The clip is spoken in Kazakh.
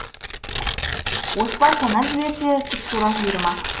оспан санап жіберсе тұп тура жиырма